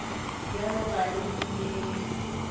bjalo ka ge o bolela